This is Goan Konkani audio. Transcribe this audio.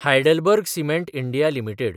HeidelbergCement India limited